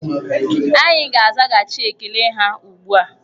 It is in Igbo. Anyị ga-azaghachị ekele ha ugbu a.